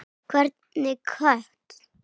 Hvernig kött?